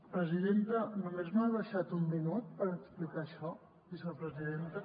presidenta només m’ha deixat un minut per explicar això vicepresidenta